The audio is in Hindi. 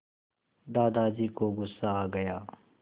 दादाजी को गुस्सा आ गया